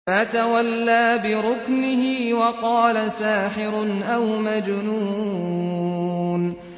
فَتَوَلَّىٰ بِرُكْنِهِ وَقَالَ سَاحِرٌ أَوْ مَجْنُونٌ